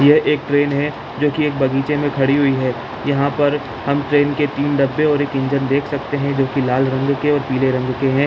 ये एक ट्रैन है ट्रैन बगीचे में खड़ी हुई है यहाँ पर ट्रैन के तीन डब्बे और एक इंजन देख सकते है जो की लाल रंग के पीले रंग के है।